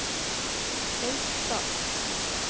Beitstad